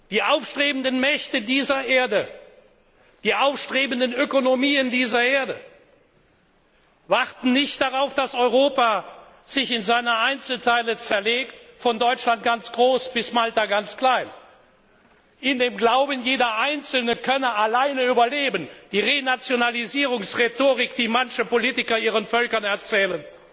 Die aufstrebenden Mächte dieser Erde, die aufstrebenden Ökonomien dieser Erde warten nicht darauf, dass Europa sich in seine Einzelteile zerlegt, von Deutschland ganz groß bis Malta ganz klein, in dem Glauben, jeder Einzelne könne allein überleben die Renationalisierungsrhetorik, die manche Politiker ihren Völkern erzählen.